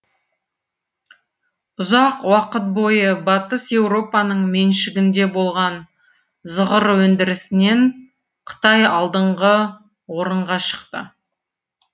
ұзақ уақыт бойы батыс еуропаның меншігінде болған зығыр өндірісінен қытай алдыңғы орынға шықты